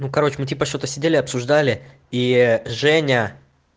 ну короче мы типа что-то сидели обсуждали и ээ женя